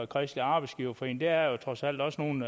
kristelig arbejdsgiverforening for det er der trods alt også nogle